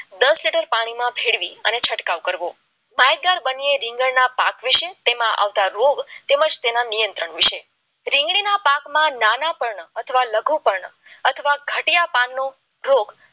દસ લીટર પાણીમાં ભેળવી અને છંટકાવ કરવો હોય ત્યારે બન્યા રીંગણના પાક વિશે તેમાં તેમાં આવતા રોગ અને તેના નિયંત્રણ વિશે રીંગણીના પાકમાં નાના પન્ના અને લઘુ પણ અથવા ગઢિયા પાનનો રોગ